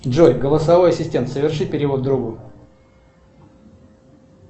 джой голосовой ассистент соверши перевод другу